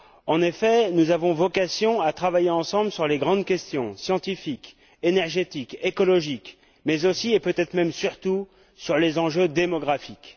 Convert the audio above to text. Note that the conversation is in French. En effet, nous avons vocation à travailler ensemble sur les grandes questions scientifiques, énergétiques, écologiques mais aussi et, peut être même, surtout sur les enjeux démographiques.